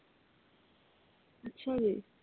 ਅੱਛਾ ਜੀ।